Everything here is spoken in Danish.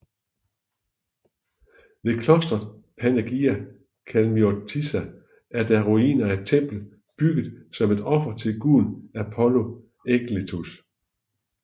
Ved klostret Panagia Kalamiotissa er der ruiner af et tempel bygget som et offer til guden Apollo Aegletus